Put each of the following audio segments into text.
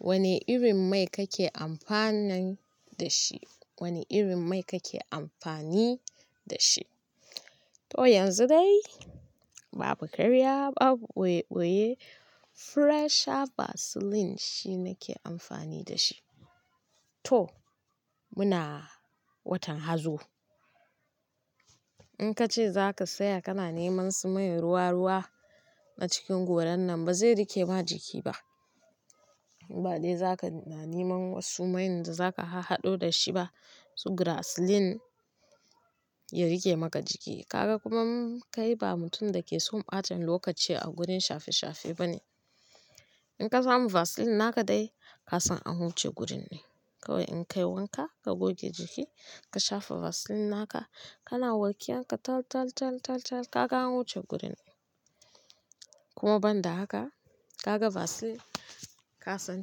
Wane irin mai kake amfani da shi? Wane irin mai kake amfani da shi? To yanzu dai babu ƙarya, babu ɓoye-ɓoye, fresher basilin shi nake amfani da shi. To muna watan Hazo. In ka ce zaka tsaya kana neman su man ruwa-ruwa na cikin goran nan ba zai rike ma jiki ba. In ba dai zaka na neman wasu mayin da zaka har haɗo da shi ba su grasilin ya riƙe maka jiki. Ka ga kuma kai ba mutum da ke son ɓacen lokaci a gurin shafe-shafe bane. In ka samu vasilin naka dai ka san an wuce gurin ɗin, kawai in ka yi wanka ka goge jiki ka shafa vasilin naka kana walƙiyan ka tal, tal, tal, tal ka ga an wuce gurin. Kuma ban da haka, ka ga vasilin, ka san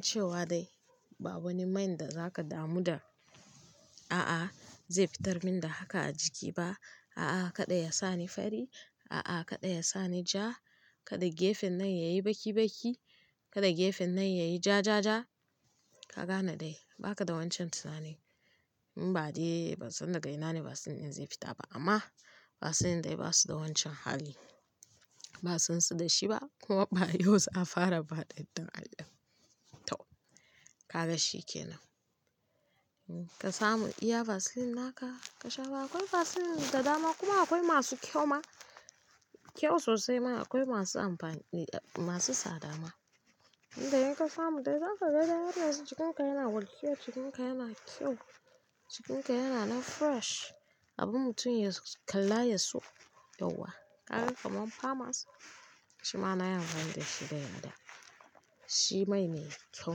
cewa dai ba wani mayin da zaka damu da "a'a zai fitar min da haka a jiki ba, a'a kada ya sa ni fari, a'a kada ya sa ni ja, kada gefen nan ya yi baki-baki, kada gefen nan ya yi ja, ja, ja" ka gane dai ba ka da wancan tunanin. In ba dai ban san da ga ina ne basilin ɗin zai fita ba, amma basilin dai ba su da wancan hali. Ba a san su da shi ba kuma ba yau za a fara amfani. To, ka ga shi kenan. Ka samu iya vasilin naka ka shafa, akwai vasilin da dama kuma akwai masu kyau ma, kyau sosai ma akwai masu amfani masu tsada ma. Indai in ka samu dai zaka ga dai har yanzu jikinka yana walƙiya, jikinka yana kyau, jikinka yana nan fresh abin mutum ya kalla ya so, yauwa. Kaga kamar famas shima na yi amfani da shi zan yadda shi mai ne, kyau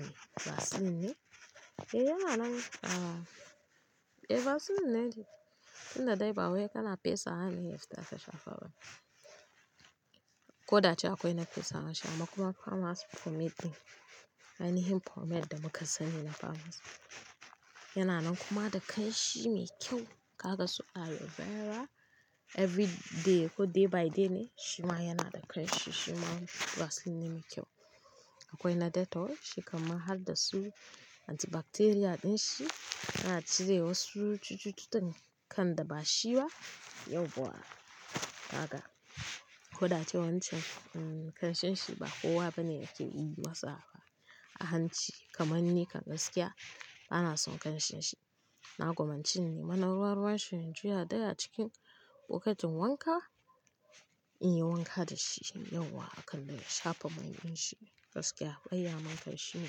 ne vasilin ne. Eh yana nan a-- eh vasilin ne shi tunda dai ba wai kana fesawa ne ya fita ka shafa ba. Ko da ace akwai na fesawan shi amma kuma famas pomade ɗin, ainihin pomade da muka sani na famas. Yana nan kuma da kanshi mai kyau, ka ga su aloe vera, everyday ko day by day ne shima yana da kanshi, shima vasilin ne mai kyau. Akwai na Dettol shi kan ma har da su antibacterial ɗin shi yana cire wasu cututtukan da ba shi ba. Yauwa ka ga koda ace wancan kanshin shi ba kowa bane yake yi masa ba. A hanci kamar ni kan gaskiya bana son kanshin shi. Na gwammanci in nima na ruwa-ruwan shi in juya dai a cikin lokatin wanka, in yi wanka da shi yauwa akan dai, na shafa mai ɗin shi. Gaskiya ban iya mantar shi ne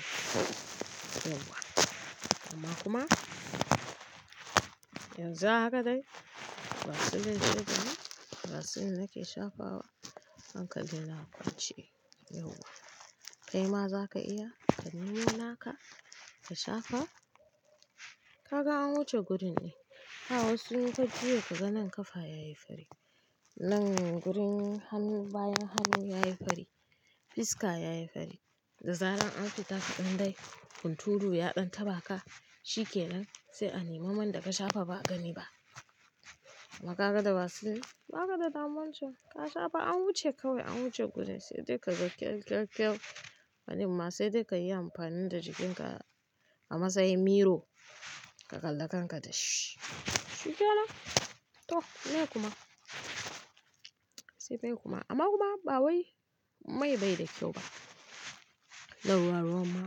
kowa. Amma kuma yanzu haka dai vasilin shine vasilin nake shafawa, hankalin a kwance yauwa. Kai ma zaka iya ka nemi naka ka shafa ka ga an wuce gurin ne. Ba wasu in ka juya ka ga nan kafa ya yi fari, nan gurin hannu bayan hannu ya yi fari, fiska ya yi fari, da zarar an fita kaɗan dai hunturu ya ɗan taɓa ka shi kenan sai a nemi man da ka shafa ba a gani ba. Amma ka ga da vasilin ba ka da damuwan can ka shafa an wuce kawai an wuce gurin sai dai ka ga kyau, kyau, kyau. Wani ma sai dai ka yi amfani da jikinka a matsayin miro ka kalla kanka da shi, shi ke nan. To meye kuma, sai dai kuma, amma kuma ba wai mai bai da kyau ba. Da ruwa-ruwa ma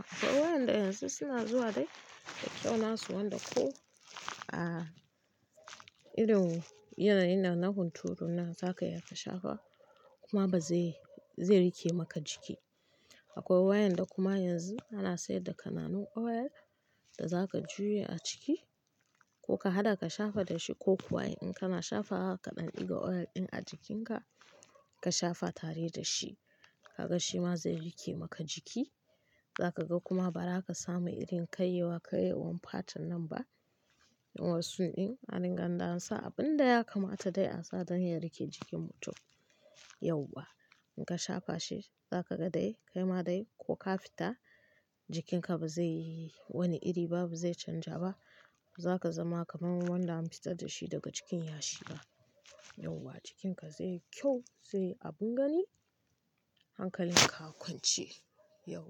akwai waƴanda yanzu suna zuwa dai da kyau nasu wanda ko, ah, irin yanayin nan na unturu nan zaka iya ka shafa kuma ba zai- zai rike maka jiki. Akwai waƴanda kuma yanzu ana sayar da kananan oil da zaka juye a ciki ko ka haɗa ka shafa da shi ko kuwa in kana shafa haka ɗan ɗiga oil ɗin a jikinka ka shafa tare da shi ka ga shi ma zai rike maka jiki. Za ka ga kuma ba za ka samu irin kayewa- kayewan fatan nan ba. Wan su ɗin a ninganda sa abin da ya kamata dai a sa don ya rike jikin mutum yauwa. In ka shafa shi zaka ga dai kai ma dai ko ka fita jikinka ba zai yi wani iri ba, ba zai canja ba. Zaka zama kamar wanda an fitar da shi daga cikin yashi ba yauwa. Jikinka zai yi kyau zai yi abin gani hankalin ka a kwance yauwa.